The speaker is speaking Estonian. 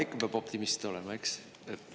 Ikka peab optimist olema, eks!